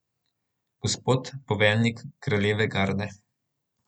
Gospod poveljnik kraljeve garde.